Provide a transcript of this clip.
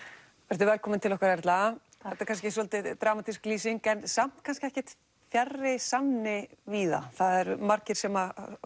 vertu velkomin til okkar Erla þetta er kannski svolítið dramatísk lýsing en samt kannski ekkert fjarri sanni víða það eru margir sem